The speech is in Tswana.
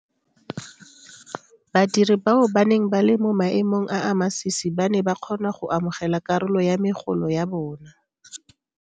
Badiri bao ba neng ba le mo maemong a a masisi ba ne ba kgona go amogela karolo ya megolo ya bona.